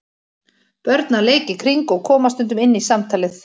Börn að leik í kring og koma stundum inn í samtalið.